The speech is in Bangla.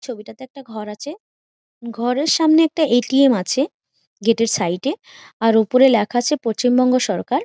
ছবিটা তে একটা ঘর আছে । ঘরের সামনে একটা এ.টি.এম আছে | গেট -এর সাইড -এ | এর ওপরে লেখা আছে পশ্চিমবঙ্গ সরকার ।